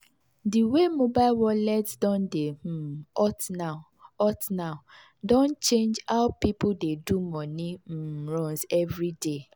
the way mobile wallet don dey um hot now hot now don change how people dey do money um runs every day.